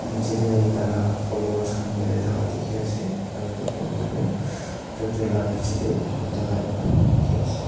nechi teh tai laga followers kan berai taka teki ase aro eto papa toh tractor laga bechi teh bui taka ekta eki ase.